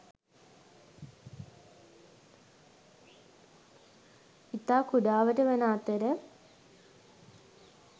ඉතා කුඩාවට වන අතර